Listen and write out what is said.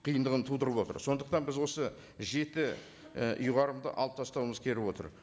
қиындығын тудырып отыр сондықтан біз осы жеті і ұйғарымды алып тастауымыз келіп отыр